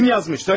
Kim yazmış?